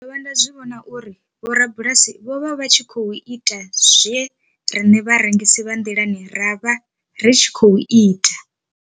Ndo dovha nda zwi vhona uri vhorabulasi vho vha vha tshi khou ita zwe riṋe vharengisi vha nḓilani ra vha ri tshi khou ita.